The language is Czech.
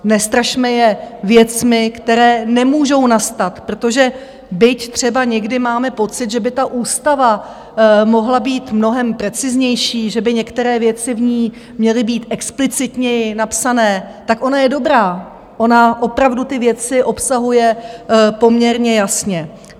Nestrašme je věcmi, které nemůžou nastat, protože byť třeba někdy máme pocit, že by ta ústava mohla být mnohem preciznější, že by některé věci v ní měly být explicitněji napsané, tak ona je dobrá, ona opravdu ty věci obsahuje poměrně jasně.